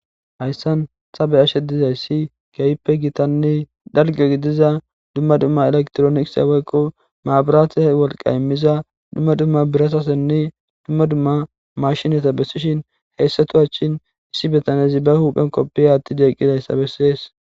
hayssan tabe ashe dizayssi keyppe gitanni dalge gidiza dumma dumma elektrooniise waykqo maabiraata wolqa immiza dumma dumma birasasenne dumma dumma mashinata bessishin heyssatu achshin issi betanezi ba huphen qoppiya atti deeqidayssa bessees